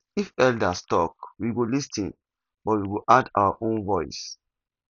if elders talk we go lis ten but we go add our own voice